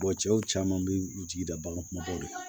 cɛw caman bɛ u jigi da bagan kunbaw de la